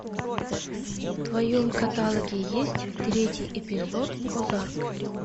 в твоем каталоге есть третий эпизод озарк